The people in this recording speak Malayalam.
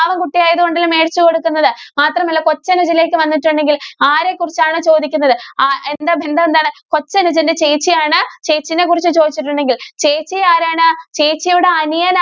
പാവം കുട്ടി ആയതുകൊണ്ടല്ലേ മേടിച്ചു കൊടുക്കുന്നത്. മാത്രമല്ല, കൊച്ചനുജനിലേക്ക് വന്നിട്ടുണ്ടെങ്കിൽ ആരെ കുറിച്ചാണ് ചോദിക്കുന്നത്. അഹ് എന്താ ബന്ധം എന്താണ്? കൊച്ചനുജന്റെ ചേച്ചിയാണ്. ചേച്ചിനെ കുറിച്ച് ചോദിച്ചിട്ടുണ്ടെങ്കില്‍ ചേച്ചി ആരാണ്? ചേച്ചിയുടെ അനിയനാ